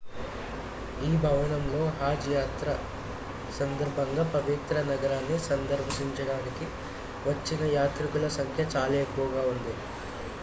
ఈ భవనంలో హజ్ యాత్ర సందర్భంగా పవిత్ర నగరాన్ని సందర్శించడానికి వచ్చిన యాత్రికుల సంఖ్య చాలా ఎక్కువగా ఉంది